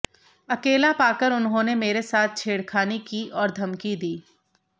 अकेला पाकर उन्होंने मेरे साथ छेड़खानी की और धमकी दी